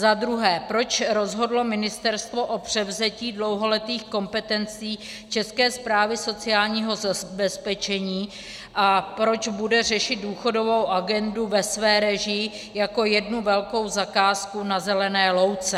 Za druhé, proč rozhodlo ministerstvo o převzetí dlouholetých kompetencí České správy sociálního zabezpečení a proč bude řešit důchodovou agendu ve své režii jako jednu velkou zakázku na zelené louce.